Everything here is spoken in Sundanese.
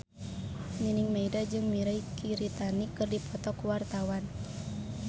Nining Meida jeung Mirei Kiritani keur dipoto ku wartawan